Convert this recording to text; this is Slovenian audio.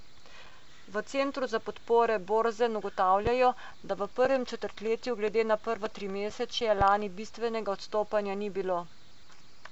V centru za podpore Borzen ugotavljajo, da v prvem četrtletju glede na prvo trimesečje lani bistvenega odstopanja ni bilo.